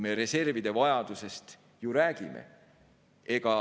Ja reservide vajadusest me ju räägime.